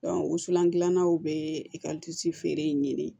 wusulan gilannaw be feere in ɲini